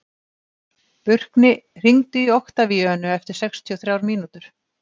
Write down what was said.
Burkni, hringdu í Oktavíönu eftir sextíu og þrjár mínútur.